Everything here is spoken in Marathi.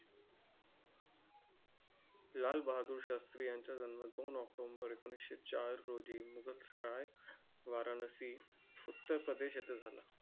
लाल बहादुर शास्त्री यांचा जन्म दोन october एकोणीस चार रोजी मुगलसराय, वाराणसी, उत्तर प्रदेश येथे झाला.